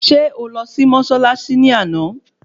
Ṣé ó lọ sí mọ́ṣáláṣí ní àná?